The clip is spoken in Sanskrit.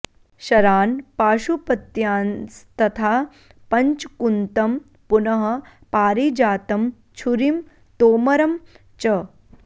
शरान् पाशुपत्यांस्तथा पञ्च कुन्तं पुनः पारिजातं छुरीं तोमरं च